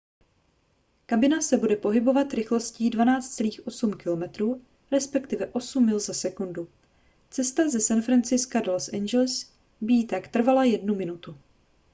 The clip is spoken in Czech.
kabina se bude pohybovat rychlostí 12.8 km respektive 8 mil za sekundu cesta ze san francisca do los angeles by jí tak trvala jednu minutu